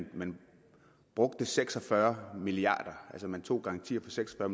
man brugte seks og fyrre milliard altså man tog garanti for seks og